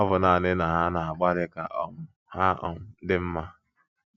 Ọ̀ bụ naanị na ha na-agbalị ka um ha um dị mma?